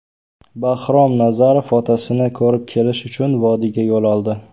Bahrom Nazarov otasini ko‘rib kelish uchun vodiyga yo‘l oldi.